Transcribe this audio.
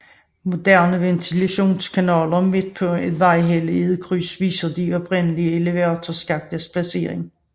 Moderne ventilationskanaler midt på en vejhelle i krydset viser de oprindelige elevatorskaktes placering